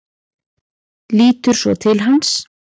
Lítur svo til hans.